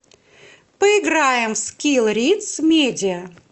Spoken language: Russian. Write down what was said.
поиграем в скилл риц медиа